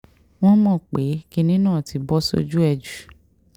wọ́n mọ̀ pé kinní náà ti bọ́ sójú ẹ̀ jù